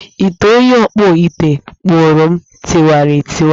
Ite onye ọkpụ ite kpụụrụm tiwara taa